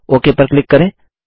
okay पर click करें